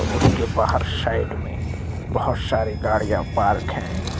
उसके बाहर साइड मे बहोत सारी गाड़ियाँ पार्क है।